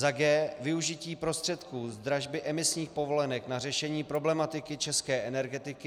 g) využití prostředků z dražby emisních povolenek na řešení problematiky české energetiky,